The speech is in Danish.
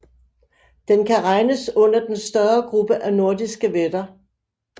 Den kan regnes under den større gruppe af nordiske vætter